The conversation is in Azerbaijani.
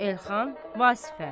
Elxan Vasifə.